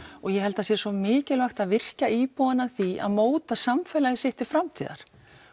ég held að það sé svo mikilvægt að virkja íbúana að því að móta samfélagið sitt til framtíðar